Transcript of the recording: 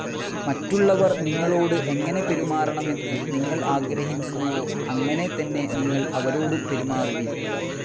മറ്റുള്ളവർ നിങ്ങളോട് എങ്ങനെ പെരുമാറണമെന്ന് നിങ്ങൾ ആഗ്രഹിക്കുന്നുവോ, അങ്ങനെ തന്നെ നിങ്ങൾ അവരോടും പെരുമാറുവിൻ